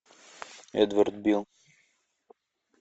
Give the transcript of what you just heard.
эдвард билл